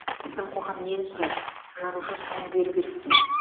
біздің қоғам нені сұрайды жазушы соны беру керек пе